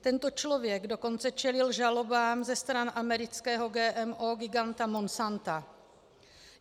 Tento člověk dokonce čelil žalobám ze strany amerického GMO giganta Monsanta.